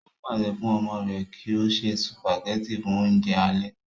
ó pàṣẹ fún ọmọ rẹ̀ kí ó ṣe sùpàgẹ́tì fún oúnjẹ alẹ́